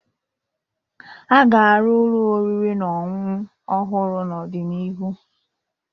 A ga-arụ ụlọ oriri na ọṅụṅụ ọhụrụ n'ọdịnihu.